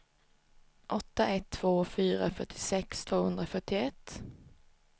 åtta ett två fyra fyrtiosex tvåhundrafyrtioett